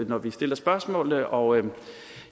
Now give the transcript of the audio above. når vi stiller spørgsmålene og